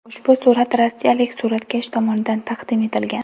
Ushbu surat rossiyalik suratkash tomonidan taqdim etilgan.